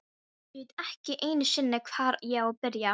Ég veit ekki einu sinni, hvar ég á að byrja.